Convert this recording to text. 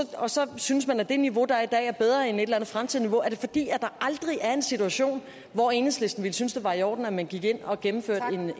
synes man at det niveau der er i dag er bedre end et eller andet fremtidigt niveau er det fordi der aldrig er en situation hvor enhedslisten ville synes det var i orden at man gik ind og gennemførte